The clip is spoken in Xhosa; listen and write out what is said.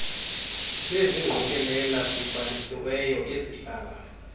bezingqokelela zibhalisiweyo ezihlala